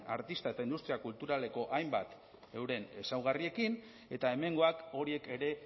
artista eta industria kulturaleko hainbat euren ezaugarriekin eta hemengoak horiek ere